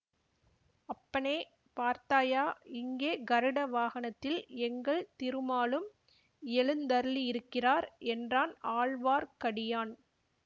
அப்பனே பார்த்தாயா இங்கே கருட வாகனத்தில் எங்கள் திருமாலும் எழுந்தருளியிருக்கிறார் என்றான் ஆழ்வார்க்கடியான்